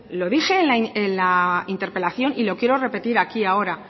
lo dije en la interpelación y lo quiero repetir aquí ahora